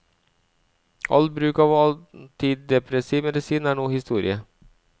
All bruk av antidepressiv medisin er nå historie.